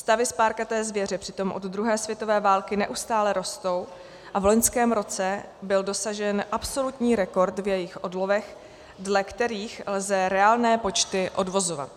Stavy spárkaté zvěře přitom od druhé světové války neustále rostou a v loňském roce byl dosažen absolutní rekord v jejich odlovech, dle kterých lze reálné počty odvozovat.